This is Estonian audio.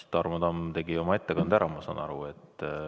Tarmo Tamm tegi oma ettekande ära, ma saan aru.